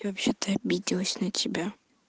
я вообще-то обиделась на тебя